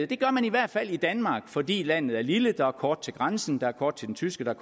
det gør man i hvert fald i danmark fordi landet er lille og der er kort til grænsen der er kort til den tyske